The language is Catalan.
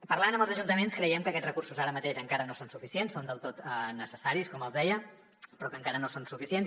parlant amb els ajuntaments creiem que aquests recursos ara mateix encara no són suficients són del tot necessaris com els deia però que encara no són suficients